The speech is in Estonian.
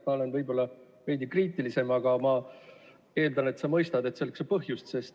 Ma olen võib-olla veidi kriitilisem, aga ma eeldan, et sa mõistad, et selleks on põhjust.